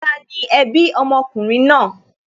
Tani ẹbí ọmọkùnrin náà?